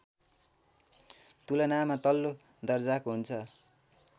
तुलनामा तल्लो दर्जाको हुन्छ